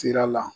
Sira la